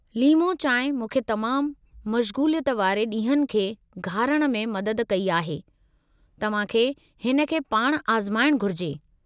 लीमो चांहि मूंखे तमामु मशगू़लियत वारे ॾींहनि खे घारणु में मदद कई आहे, तव्हां खे हिन खे पाणि आज़माइणु घुरिजे।